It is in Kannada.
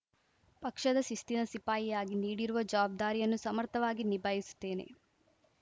ಪಕ್ಷದ ಶಿಸ್ತಿನ ಸಿಪಾಯಿಯಾಗಿ ನೀಡಿರುವ ಜವಾಬ್ದಾರಿಯನ್ನು ಸಮರ್ಥವಾಗಿ ನಿಭಾಯಿಸುತ್ತೇನೆ